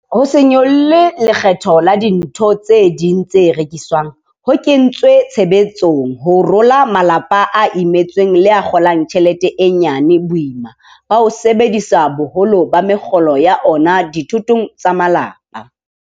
Ho se nyolle lekgetho la dintho tse ding tse rekiswang ho kentswe tshebetsong ho rola malapa a imetsweng le a kgo lang tjhelete e nyane boima ba ho sebedisa boholo ba mekgolo ya ona dithotong tsa malapa.